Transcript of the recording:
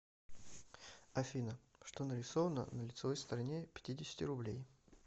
афина что нарисовано на лицевой стороне пятидесяти рублей